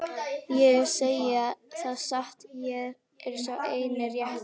Ég segi það satt, ég er sá eini rétti.